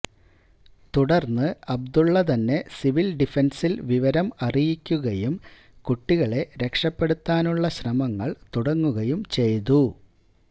തുടർന്ന് അബ്ദുള്ളതന്നെ സിവിൽ ഡിഫൻസിൽ വിവരം അറിയിക്കുകയും കുട്ടികളെ രക്ഷപ്പെടുത്താനുള്ള ശ്രമങ്ങൾ തുടങ്ങുകയും ചെയ്തു